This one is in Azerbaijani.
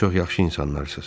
Çox yaxşı insanlarsız.